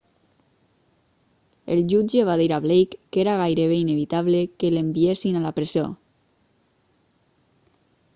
el jutge va dir a blake que era gairebé inevitable que l'enviessin a la presó